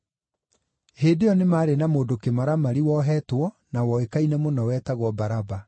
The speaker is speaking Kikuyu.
Hĩndĩ ĩyo nĩ maarĩ na mũndũ kĩmaramari wohetwo na woĩkaine mũno, wetagwo Baraba.